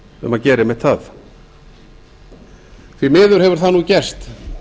um að gera einmitt það því miður hefur það nú gerst